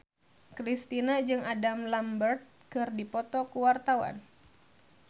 Kristina jeung Adam Lambert keur dipoto ku wartawan